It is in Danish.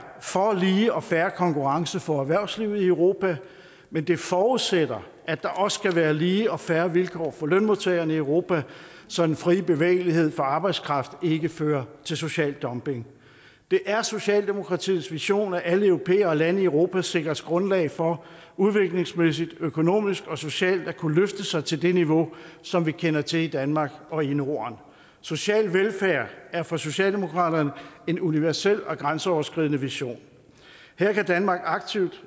for lige og fair konkurrence for erhvervslivet i europa men det forudsætter at der også skal være lige og fair vilkår for lønmodtagerne i europa så den frie bevægelighed for arbejdskraft ikke fører til social dumping det er socialdemokratiets vision at alle europæere og lande i europa sikres grundlag for udviklingsmæssigt økonomisk og socialt at kunne løfte sig til det niveau som vi kender til i danmark og i norden social velfærd er for socialdemokratiet en universel og grænseoverskridende vision her kan danmark aktivt